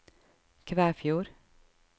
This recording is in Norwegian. Kvæfjord